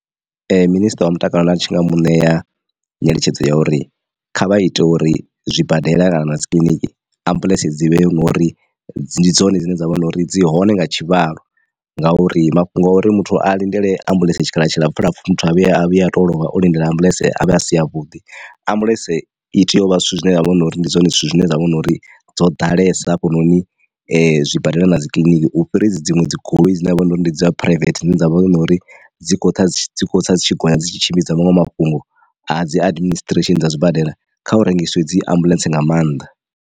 Minisiṱa wa mutakalo nda tshi nga mu ṋea nyeletshedzo ya uri kha vha ite uri zwibadela kana dzikiḽiniki ambuḽentse dzi vhe ngori ndi dzone dzine dza vha na uri dzi hone nga tshivhalo, ngauri mafhungo a uri muthu a lindele ambuḽentse tshikhala tshilapfu lapfu muthu a vhuye a vhuya a to lovha o lindela ambuḽentse avhe a si avhuḓi. Ambuḽentse i tea uvha zwithu zwine zwavha hunori ndi zwone zwithu zwine zwavha na uri dzo ḓalesa hafhanoni zwibadela na dzikiḽiniki u fhira hedzi dziṅwe dzi goloi dzine ha vha uri ndi dza phuraivethe dzine dzavha uri dzi kho tsa dzi kho tsa dzitshi gonya dzi tshi tshimbidza maṅwe mafhungo a dzi adiministresheni dza zwibadela kha hu rengisiwe dzi ambuḽentse nga maanḓa.